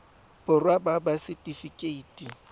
borwa ba ba ts setifikeite